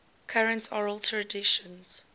current oral traditions